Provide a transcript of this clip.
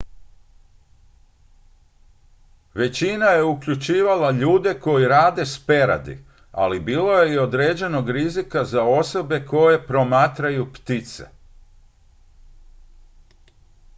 većina je uključivala ljude koji rade s peradi ali bilo je i određenog rizika za osobe koje promatraju ptice